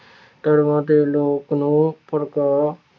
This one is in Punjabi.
ਧਰਮਾਂ ਦੇ ਲੋਕ ਨੂੰ ਭੜਕਾ